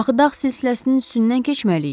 Axı dağ silsiləsinin üstündən keçməliyik.